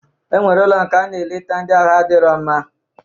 E nwere ụlọ nke a nọ eleta ndị ahụ adirọ mma